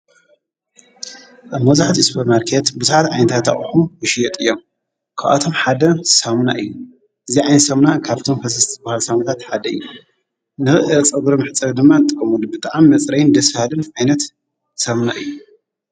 ኣብ መዙሕት እስበር ማርከት ብዙሓት ኣይንታታእሑ ዉሽየጥ እዮም ከኣቶም ሓደ ሳምና እዩ እዚዕይንሰምና ካብቶም ፈሠስቲ ብሃል ሳምታት ሓደ እዩ ን ጸጕሪ ምሕፀ ድማ ጠሙ ድቢ ጥኣም መጽረይን ድስሃልን ዓይነት ሰምና እዩ።